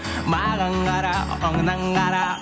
маған қара оңнан қара